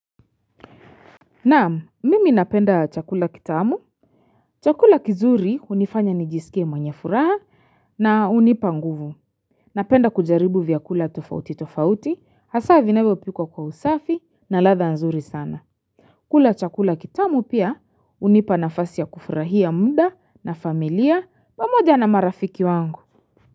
Naam, mimi napenda chakula kitamu. Chakula kizuri hunifanya nijisikie mwenye furaha na hunipa nguvu. Napenda kujaribu vyakula tofauti tofauti, hasa vinawevyopikwa kwa usafi na ladha nzuri sana. Kula chakula kitamu pia hunipa nafasi ya kufurahia muda na familia pamoja na marafiki wangu.